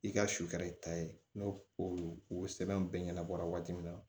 I ka sufɛ i ta ye n'o o sɛbɛn bɛɛ ɲɛnabɔra waati min na